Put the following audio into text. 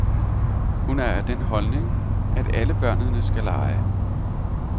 Hun er af den holdning, at alle børnene skal lege.